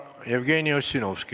Jevgeni Ossinovski, palun!